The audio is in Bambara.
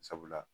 Sabula